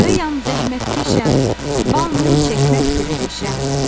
Arıyam, zəhmətkeşəm, bal, mum çəkməkdir peşəm.